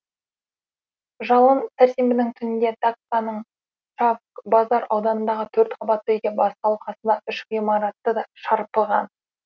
жалын сәрсенбінің түнінде дакканың чавкбазар ауданындағы төртқабатты үйде басталып қасындағы үш ғимаратты да шарпыған